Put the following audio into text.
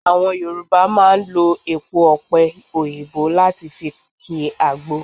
Àwọn Yorùbá máa ń lo èpo ọ̀pe òyìnbó láti fi ki agbo